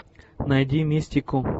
найди мистику